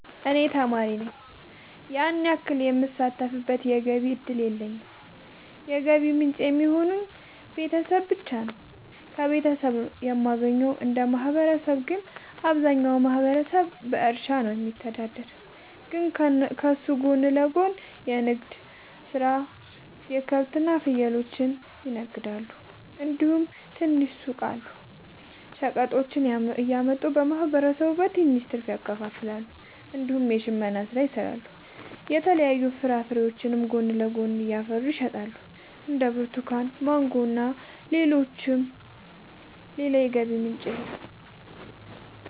እኔ ተማሪ ነኝ ያን ያክል የምሳተፍበት የገቢ እድል የለኝም የገቢ ምንጭ የሚሆኑኝ ቤተሰብ ብቻ ነው። ከቤተሰብ ነው የማገኘው። እንደ ማህበረሰብ ግን አብዛኛው ማህበረሰብ በእርሻ ነው የሚተዳደር ግን ከሱ ጎን ለጎን ንግድ የሰራሉ ከብቶች እና ፍየሎችን ይነግዳሉ እንዲሁም ትናንሽ ሱቆች አሉ። ሸቀጦችን እያመጡ ለማህበረሰቡ በትንሽ ትርፍ ያከፋፍላሉ። እንዲሁም የሽመና ስራ ይሰራሉ የተለያዩ ፍራፍሬዎችንም ጎን ለጎን ያፈሩና ይሸጣሉ እንደ ብርቱካን ማንጎ እና ሌሎችም። ሌላ የገቢ ምንጭ የለም።